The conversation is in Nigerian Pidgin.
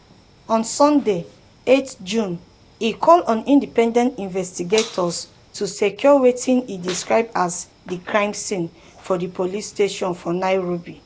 on sunday um 8 june e call on independent investigators to secure wetin e describe as "di crime scene" for di police station for nairobi. um